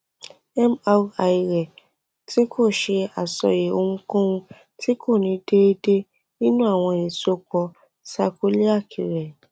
imudarasi nipasẹ ounjẹ ati awọn afikun irin yoo mu aiṣedede aiṣedede dara